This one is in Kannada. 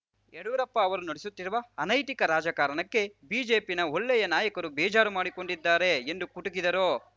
ಯಡಿಯೂರಪ್ಪ ಅವರು ನಡೆಸುತ್ತಿರುವ ಅನೈತಿಕ ರಾಜಕಾರಣಕ್ಕೆ ಬಿಜೆಪಿನ ಒಳ್ಳೆಯ ನಾಯಕರು ಬೇಜಾರು ಮಾಡಿಕೊಂಡಿದ್ದಾರೆ ಎಂದು ಕುಟುಕಿದರು